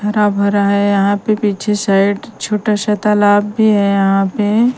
हरा भरा हैं यहाँ पे पीछे साइड छोटा सा तालाब भी हैं यहाँ पे --